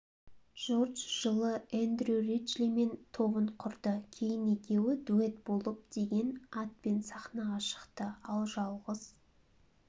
джордж жылы эндрю риджлимен тобын құрды кейін екеуі дуэт болып деген атпен сахнаға шықты ал жалғыз